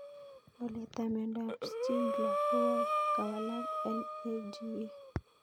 Walet ab miondop Schindler ko kawalak NAGA